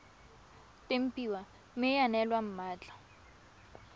tempiwa mme ya neelwa mmatla